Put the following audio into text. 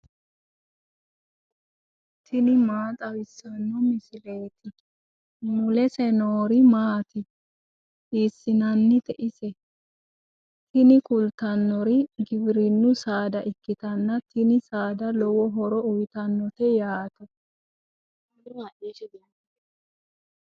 tini maa xawissanno misileeti ? mulese noori maati ? hiissinannite ise ? tini kultannori giwirinnu saada ikkitanna tini saada lowo horo uyiitannote yaate.